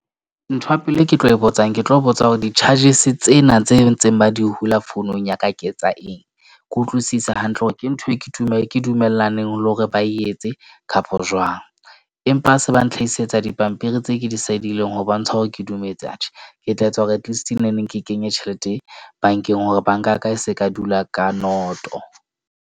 Ntho ya pele e ke tlo botsang, ke tlo botsa hore di-charges tsena tse ntseng ba di hula founung ya ka ke tsa eng? Ke utlwisisa hantle hore ke ntho e ke e ke dumellaneng le hore ba etse kapo jwang. Empa ha se ba ntlhaisetsa dipampiri tse ke di sidileng ho bontsha hore ke dumetse atjhe, ke tla etsa hore atleast neng neng ke kenye tjhelete bank-eng, hore bank-a ya ka e se ka dula ka noto.